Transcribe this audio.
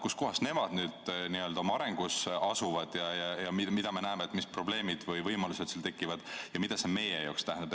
Kuskohas need riigid oma arengus asuvad ja mis probleemid või võimalused neil tekivad ja mida see meie jaoks tähendab?